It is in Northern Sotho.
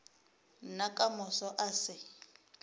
nna ka moso a se